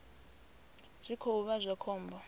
zwi khou vha zwa khombo